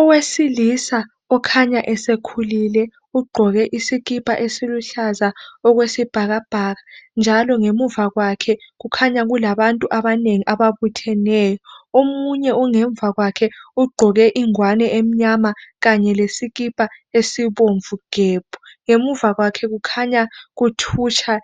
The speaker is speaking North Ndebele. Owesilisa okhanya esekhulile ,ugqoke isikipha esiluhlaza okwesibhakabhaka. Njalo ngemuva kwakhe kukhanya kulabantu abanengi ababutheneyo .Omunye ongemva kwakhe ugqoke ingwane emnyama kanye lesikipha esibomvu gebhu .Ngemuva kwakhe kukhanya kuthutsha